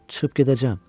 Çıxıb gedəcəm.